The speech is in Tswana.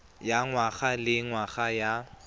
ya ngwaga le ngwaga ya